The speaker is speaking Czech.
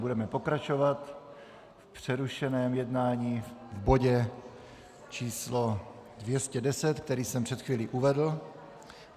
Budeme pokračovat v přerušeném jednání v bodě č. 210, který jsem před chvílí uvedl.